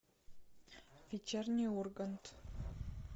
вечерний ургант